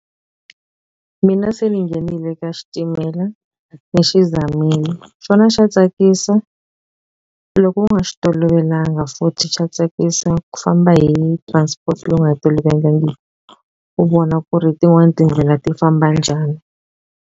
Mina se ni nghenile ka xitimela ni xi zamile xona xa tsakisa loko u nga xi tolovelanga futhi xa tsakisa ku famba hi transport leyi u nga yi tolovelangi u vona ku ri tin'wani tindlela ti famba njhani.